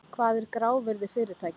Hvað er grávirði fyrirtækja?